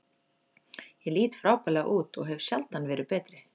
Ég lít frábærlega út og hef sjaldan verið betri.